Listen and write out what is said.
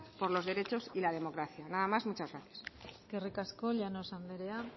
por los derechos y la democracia nada más muchas gracias eskerrik asko llanos andrea